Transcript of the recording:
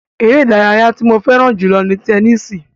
Ere idaraya ti mo fẹran julọ ni tẹnisi